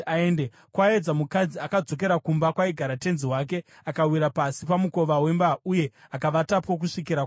Kwaedza, mukadzi akadzokera kumba kwaigara tenzi wake, akawira pasi pamukova wemba uye akavatapo kusvikira kwaedza.